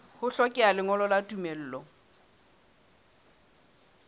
ho hlokeha lengolo la tumello